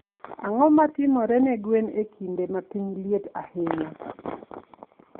Ang'o ma timore ne gwen e kinde ma piny liet ahinya?